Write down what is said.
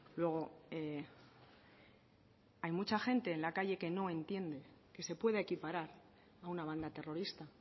luego hay mucha gente en la calle que no entiende que se pueda equiparar a una banda terrorista